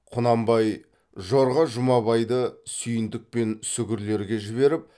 құнанбай жорға жұмабайды сүйіндік пен сүгірлерге жіберіп